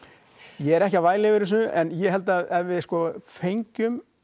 ég er ekki að væla yfir þessu en ég held að ef við sko fengjum